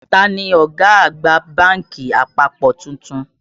Ta ni ọ̀gá àgbà bánkì àpapọ̀ tuntun?